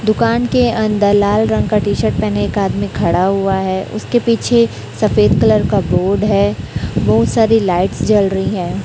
दुकान के अंदर लाल रंग का टी शर्ट पहने एक आदमी खड़ा हुआ है उसके पीछे सफेद कलर का बोर्ड है बहुत सारी लाइट्स जल रही हैं।